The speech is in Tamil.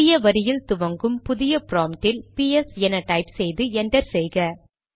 புதிய வரியில் துவங்கும் புதிய ப்ராம்ப்ட் இல் பிஎஸ் என டைப் செய்து என்டர் செய்க